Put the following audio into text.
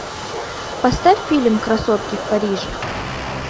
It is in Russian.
поставь фильм красотки в париже